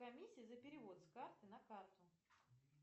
комиссия за перевод с карты на карту